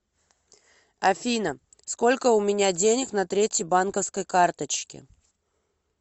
афина сколько у меня денег на третьей банковской карточке